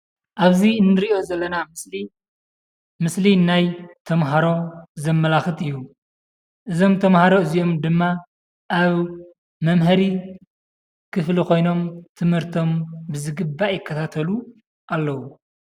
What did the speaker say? ኣብዚ እንሪኦ ዘለና ምስሊ፣ ምስሊ ናይ ተምሃሮ ዘመላክት እዩ። እዞም ተምሃሮ እዚኦም ድም ኣብ መምሀሪ ክፍሊ ኮይኖም ትምህርቶም ብዝግባእ ይከታተሉ ኣለው።